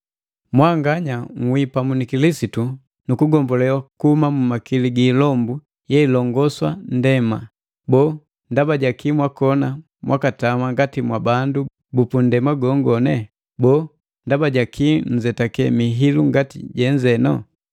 Mwanganya nhwii pamu ni Kilisitu nukugombolewa kuhuma mu makili gi ilombu yeilongosa nndema. Boo ndaba jaki mwakona mwakatama ngati mwabandu bupundema gongone? Boo ndaba jakii nzetake mihilu ngati jenze?